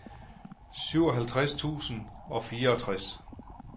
syvoghalvtreds tusind og fireogtres